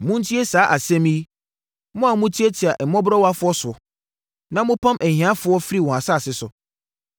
Montie saa asɛm yi, mo a motiatia mmɔborɔwafoɔ so, na mopam ahiafoɔ firi wɔn asase so,